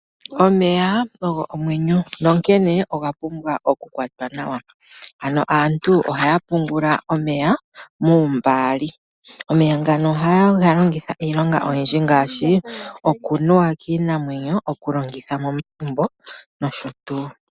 Omeya ogo omwenyo, nonkene oga pumbwa oku kwatwa nawa. Ano aantu ohaya pungula omeya muumbaali. Omeya ngano ohaye ga longitha iilonga oyindji ngaashi okunuwa kiinamwenyo okulongitha momagumbo nosho tuu.